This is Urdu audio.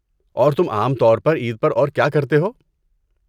اور تم عام طور پر عید پر اور کیا کرتےہو؟